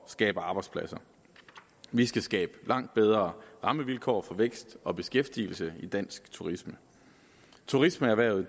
skabe arbejdspladser vi skal skabe langt bedre rammevilkår for vækst og beskæftigelse i dansk turisme turismeerhvervet